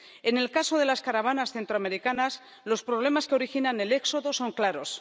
En el caso de las caravanas centroamericanas, los problemas que originan el éxodo son claros.